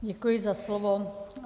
Děkuji za slovo.